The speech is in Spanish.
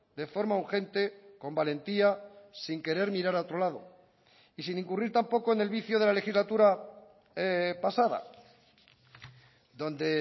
de forma urgente con valentía sin querer mirar a otro lado y sin incurrir tampoco en el vicio de la legislatura pasada donde